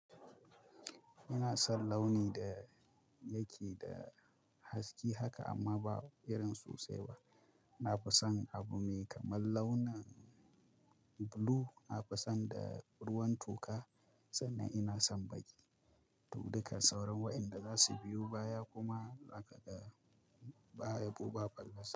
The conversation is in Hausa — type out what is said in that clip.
Ina son launi da yake da haske haka amma ba irin sosai ba. Na fi son abu mai kamar launin blue. Na fi son da ruwan toka sannan ina son bayi. Dukkan sauran waɗanda za su biyo baya kuma haka ba yabo ba fallasa.